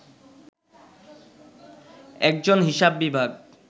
একজন হিসাব বিভাগ